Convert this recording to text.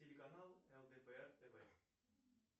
телеканал лдпр тв